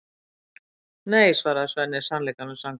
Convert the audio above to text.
Nei, svarar Svenni sannleikanum samkvæmt.